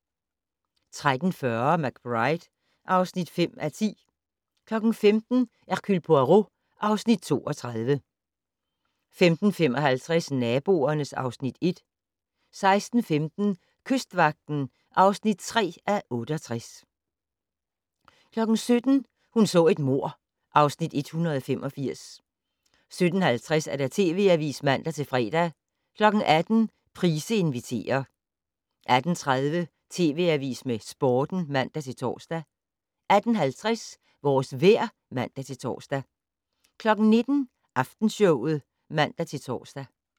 13:40: McBride (5:10) 15:00: Hercule Poirot (Afs. 32) 15:55: Naboerne (Afs. 1) 16:15: Kystvagten (3:68) 17:00: Hun så et mord (Afs. 185) 17:50: TV Avisen (man-fre) 18:00: Price inviterer 18:30: TV Avisen med Sporten (man-tor) 18:50: Vores vejr (man-tor) 19:00: Aftenshowet (man-tor)